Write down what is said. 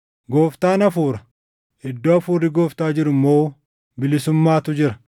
Gooftaan Hafuura. Iddoo Hafuurri Gooftaa jiru immoo bilisummaatu jira.